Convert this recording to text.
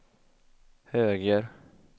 höger